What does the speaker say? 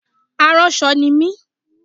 Aránṣọ ni mi